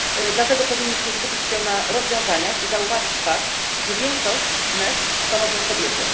Dlatego powinniśmy skupić się na rozwiązaniach i zauważyć fakt, że większość NEET stanowią kobiety.